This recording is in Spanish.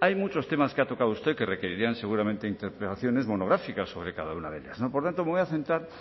hay muchos temas que ha tocado a usted que requerirían seguramente interpelaciones monográficas sobre cada una ellas por tanto me voy a centrar